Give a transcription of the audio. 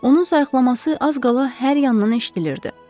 Onun sayiqlaması az qala hər yandan eşidilirdi.